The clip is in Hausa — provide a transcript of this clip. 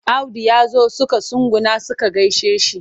Audu ya zo suka tsuguna suka gaishe shi.